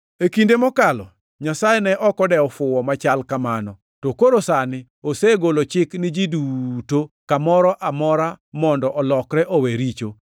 E kinde mokalo Nyasaye ne ok odewo fuwo machal kamano, to koro sani osegolo chik ni ji duto kamoro amora mondo olokre owe richo.